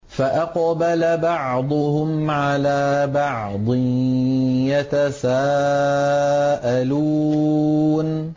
فَأَقْبَلَ بَعْضُهُمْ عَلَىٰ بَعْضٍ يَتَسَاءَلُونَ